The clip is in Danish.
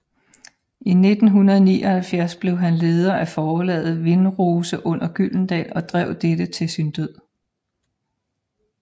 I 1979 blev han leder af forlaget Vindrose under Gyldendal og drev dette til sin død